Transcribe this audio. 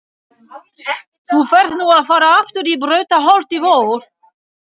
Þú færð nú að fara aftur í Brautarholt í vor.